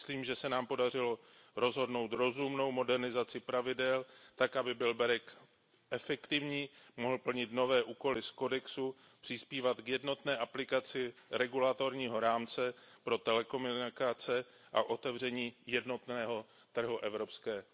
Myslím, že se nám podařilo dohodnout rozumnou modernizaci pravidel, tak aby byl BEREC efektivní, mohl plnit nové úkoly z kodexu, přispívat k jednotné aplikaci regulatorního rámce pro telekomunikace a k otevření jednotného trhu Evropské unie.